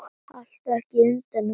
Haltu ekki utan um mig.